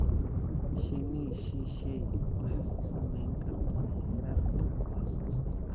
Shinni shisheeye waxay saameyn kartaa heerarka wax soo saarka.